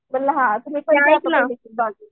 म्हणलं हां तुम्ही